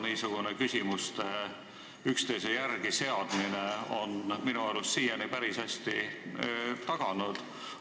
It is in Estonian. Seda on küsimuste üksteise järele seadmine minu arust siiani päris hästi taganud.